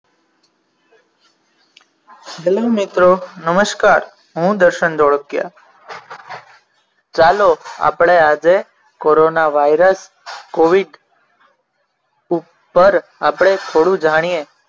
Hello મિત્રો નમસ્કાર હું દર્શન ધોળકિયા ચાલો આપણે આજે કોરોના વાયરસ covid ઉપર આપણે થોડું જાણીએ